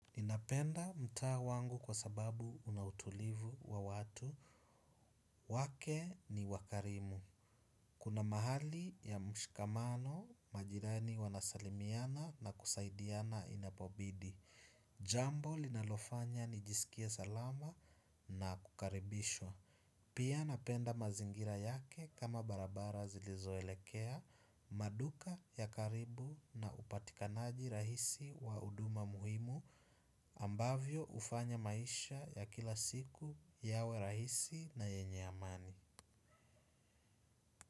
Ninapenda mtaa wangu kwa sababu una utulivu wa watu. Wake ni wakarimu. Kuna mahali ya mshikamano majirani wanasalimiana na kusaidiana inapobidi. Jambo linalofanya nijisikie salama na kukaribishwa. Pia napenda mazingira yake kama barabara zilizoelekea maduka ya karibu na upatikanaji rahisi wa huduma muhimu. Ambavyo hufanya maisha ya kila siku yawe rahisi na yenye amani.